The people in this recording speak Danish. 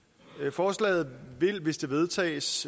forslaget vil hvis det vedtages